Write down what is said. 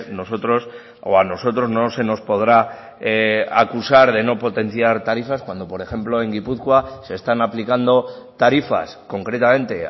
nosotros o a nosotros no se nos podrá acusar de no potenciar tarifas cuando por ejemplo en gipuzkoa se están aplicando tarifas concretamente